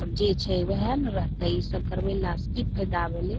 अब जे छै वहे न रहतै इ सब करवैला से की फायदा भले |